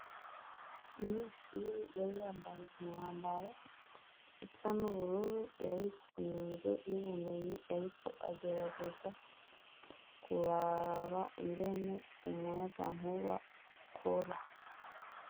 Umunyeshure yari yambaye umwambaro usa n'ubururu yari mu nzu y'ubumenyi yari ko agerageza kuraba ingene umuyagankuba ukora.